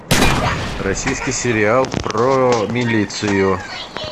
российский сериал про милицию